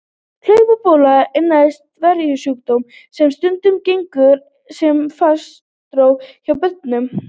Hlaupabóla er næmur veirusjúkdómur sem stundum gengur sem farsótt hjá börnum.